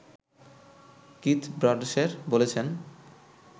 Keith ব্রাডশের বলছেন